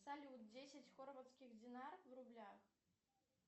салют десять хорватских динар в рублях